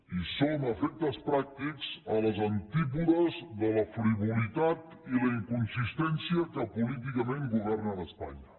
i som a efectes pràctics a les antípodes de la frivolitat i la inconsistència que políticament governen a espanya